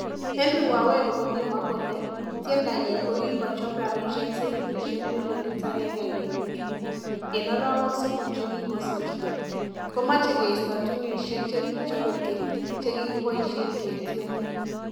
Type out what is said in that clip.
Henry waweru kokimwa kole tiendanyin kokikochob rabishek silingisiek milionit agenge kenuch Mut, en arawek somok chekikosirto, komoche keisto tunishek chekibo keny che kikiboishen ketyen.